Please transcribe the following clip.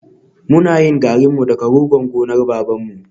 We used to make our own gari with the cassava from my father's farm